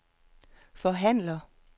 forhandler